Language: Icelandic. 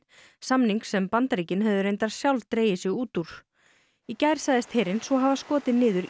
samnings sem Bandaríkin höfðu reyndar sjálf dregið sig út úr í gær sagðist herinn hafa skotið niður